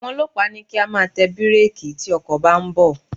Àwọn ọlọ́pàá ní kí á máa tẹ bírékì tí ọkọ̀ bá ń bọ̀.